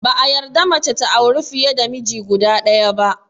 Ba a yarda mace ta auri fiye da miji guda ɗaya ba